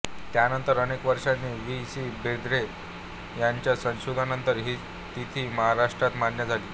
त्यानंतर अनेक वर्षांनी वा सी बेंद्रे यांच्या संशोधनानंतर हीच तिथी महाराष्ट्रात मान्य झाली